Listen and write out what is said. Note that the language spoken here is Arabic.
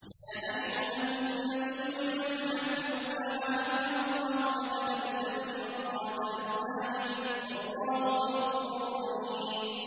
يَا أَيُّهَا النَّبِيُّ لِمَ تُحَرِّمُ مَا أَحَلَّ اللَّهُ لَكَ ۖ تَبْتَغِي مَرْضَاتَ أَزْوَاجِكَ ۚ وَاللَّهُ غَفُورٌ رَّحِيمٌ